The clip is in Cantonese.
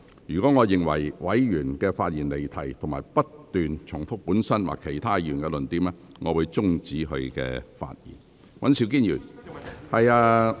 若我認為委員發言離題或不斷重複本身或其他委員的論點，我會終止該委員發言。